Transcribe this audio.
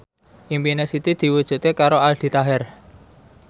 impine Siti diwujudke karo Aldi Taher